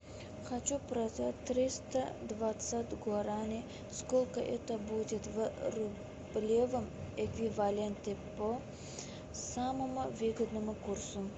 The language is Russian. хочу продать триста двадцать гуараней сколько это будет в рублевом эквиваленте по самому выгодному курсу